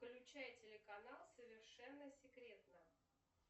включай телеканал совершенно секретно